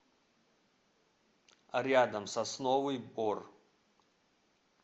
рядом сосновый бор